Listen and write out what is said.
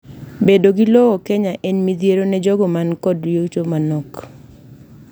bedo gi lowo Kenya en midhiero ne jogo mankod yuto manok